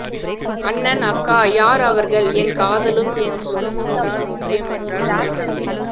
அண்ணன் அக்கா யார் அவர்கள் என் காதலும் என் சுகமும் தான் முக்கியம் என்றால் ஒரு தங்கை